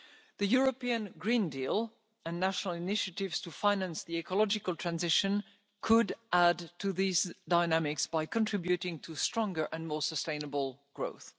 The European Green Deal and national initiatives to finance the ecological transition could add to these dynamics by contributing to stronger and more sustainable growth.